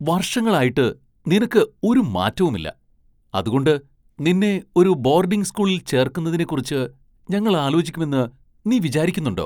വർഷങ്ങളിലായിട്ട് നിനക്ക് ഒരു മാറ്റവുമില്ല, അതുകൊണ്ട് നിന്നെ ഒരു ബോർഡിംഗ് സ്കൂളിൽ ചേർക്കുന്നതിനെക്കുറിച്ച് ഞങ്ങൾ ആലോചിക്കുമെന്ന് നീ വിചാരിക്കുന്നുണ്ടോ?